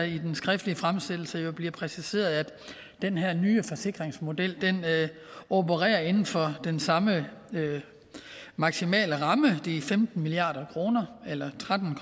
i den skriftlige fremsættelse bliver præciseret at den her nye forsikringsmodel opererer inden for den samme maksimale ramme det om femten milliard kr eller tretten